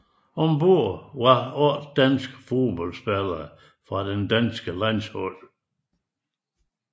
Ombord var otte danske fodboldspillere fra det danske landshold